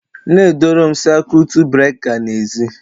E debere m siakwutu breka n'ezi